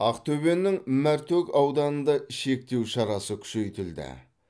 ақтөбенің мәртөк ауданында шектеу шарасы күшейтілді